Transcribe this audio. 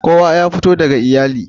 Kowa ya fito daga iyali.